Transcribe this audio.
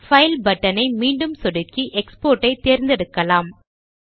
file button ஐ மீண்டும் சொடுக்கி எக்ஸ்போர்ட் ஐ தேர்ந்தெடுக்கலாம்